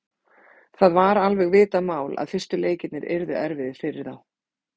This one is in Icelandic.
Það var alveg vitað mál að fyrstu leikirnir yrðu erfiðir fyrir þá.